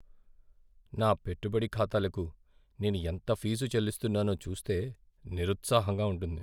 నా పెట్టుబడి ఖాతాలకు నేను ఎంత ఫీజు చెల్లిస్తున్నానో చూస్తే నిరుత్సాహంగా ఉంటుంది.